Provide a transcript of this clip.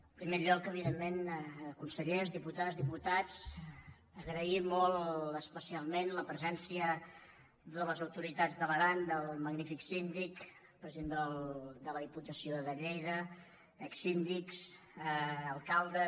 en primer lloc evidentment con·sellers diputades diputats agrair molt especialment la presència de les autoritats de l’aran del magnífic síndic president de la diputació de lleida exsíndics alcaldes